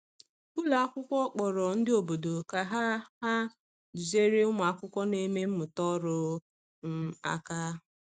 Ụlọ akwụkwọ kpọrọ ndị obodo ka ha ha duziere ụmụ akwụkwọ na-eme mmụta ọrụ um aka.